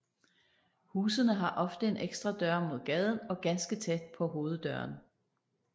Husene har ofte en ekstra dør mod gaden og ganske tæt på hoveddøren